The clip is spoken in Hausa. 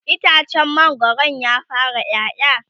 itacen mangwaron ya fara ƴaƴa?